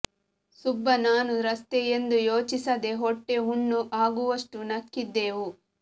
ಸುಬ್ಬ ನಾನು ರಸ್ತೆ ಎಂದು ಯೋಚಿಸದೇ ಹೊಟ್ಟೆ ಹುಣ್ಣು ಆಗುವಷ್ಟು ನಕ್ಕಿದ್ದೆವು